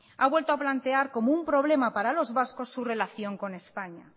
ha vuelto a plantear como un problema para los vascos su relación con españa